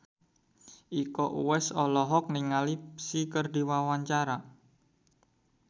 Iko Uwais olohok ningali Psy keur diwawancara